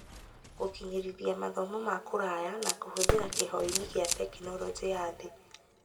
Gũkinyanĩrithia mathomo ma kũraya na kũhũthĩra kĩhoinĩ kĩa tekinoronjĩ ya thĩ